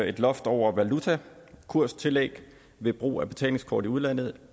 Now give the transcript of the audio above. et loft over valutakurstillæg ved brug af betalingskort i udlandet